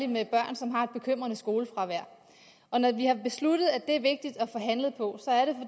med børn som har et bekymrende skolefravær og når vi har besluttet at det er vigtigt at få handlet på